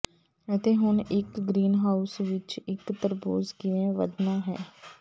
ਅਤੇ ਹੁਣ ਇੱਕ ਗ੍ਰੀਨਹਾਊਸ ਵਿੱਚ ਇੱਕ ਤਰਬੂਜ ਕਿਵੇਂ ਵਧਣਾ ਹੈ